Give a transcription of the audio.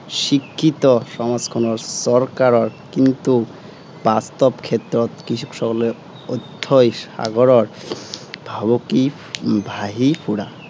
শিক্ষিত সমাজখনৰ, চৰকাৰৰ কিন্তু বাস্তৱ ক্ষেত্ৰত কৃষকসকলে অথ্য়ই সাগৰৰ ভাবুকি উম ভাঁহি ফুৰা